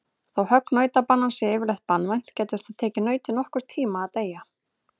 Þó högg nautabanans sé yfirleitt banvænt getur það tekið nautið nokkurn tíma að deyja.